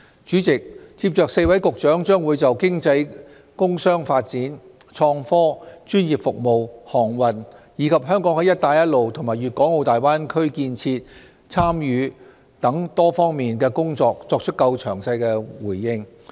主席，接着4位局長將就經濟工商發展、創科、專業服務、航運，以及香港在"一帶一路"及粵港澳大灣區建設的參與等多方面的工作作出較詳細的回應。